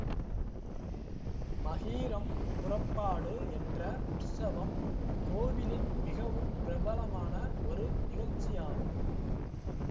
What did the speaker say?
மகீரம் புறப்பாடு என்ற உற்சவம் கோவிலின் மிகவும் பிரபலமான ஒரு நிகழ்ச்சியாகும்